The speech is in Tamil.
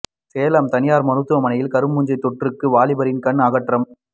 சேலம் தனியார் மருத்துவமனையில் கருப்பு பூஞ்சை தொற்றுக்கு வாலிபரின் கண் அகற்றம்